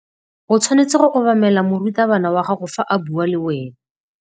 O tshwanetse go obamela morutabana wa gago fa a bua le wena.